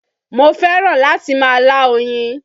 Mo fẹ́ràn láti máa lá oyin